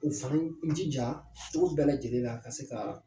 U fana jija cogo bɛɛ lajɛlen ka se ka